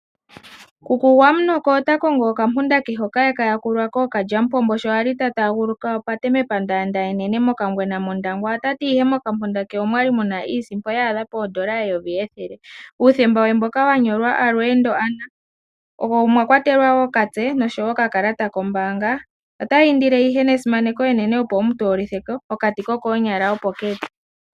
Kuku Gwamunoko ota kongo okampunda ke hoka e ka yakulwa kookalyamupombo sho a li ta aaguluka opate mepandaanda enene mOkangwena mOndangwa. Ota ti mokampunda ke omwa li mu na iisimpo ya adha pomayovi ethele, uuthemba we mboka wa nyolwa Alweendo Anna, omwa kwatelwa wo okamutse ke koshilongo nokakalata kombaanga. Ota indile ihe nesimaneko enene opo wu mu toolithe ko. Okati kokoonyala opo ke li.